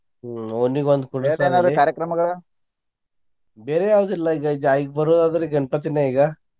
ಹ್ಮ್ ಓಣಿಗೊಂದ್ ಕುಂಡ್ರಸೋದು ಬೇರೆ ಯಾವ್ದೂ ಇಲ್ಲಾ ಈಗಾ ಬರೋದ ಆದ್ರಾ ಗಣ್ಪತಿನ ಈಗಾ.